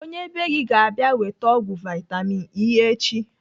Onye bee gị ga - abịa weta ọgwụ vitamin E echi.